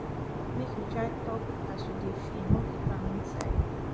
make you try tok as you dey feel no keep am inside